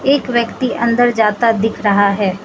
एक व्यक्ति अंदर जाता दिख रहा है।